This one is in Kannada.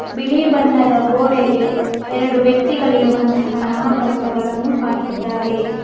ಬಿಳಿ ಬಣ್ಣದ ಗೋಡೆಗೆ ಎರಡು ವ್ಯಕ್ತಿಗಳಿರುವಂತಹ ನಾಮಪಲಕಗಳನ್ನು ಹಾಕಿದ್ದಾರೆ.